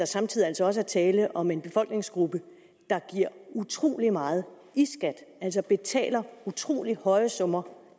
samtidigt også er tale om en befolkningsgruppe der giver utrolig meget i skat altså betaler utrolig høje summer